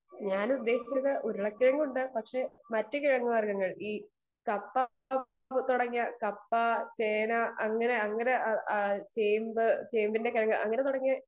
Speaker 2 ഞാൻ ഉദ്ദേശിച്ചിരുന്നത് ഉരുള കിഴങ്ങുണ്ട്. പക്ഷെ മറ്റു കിഴങ്ങു വർഗ്ഗങ്ങൾ ഈ കപ്പ തുടങ്ങിയ കപ്പ , ചേന, അങ്ങനെ അങ്ങനെ ചേമ്പ് ചെമ്പിന്റെ കിഴങ്ങു അങ്ങനെ തുടങ്ങി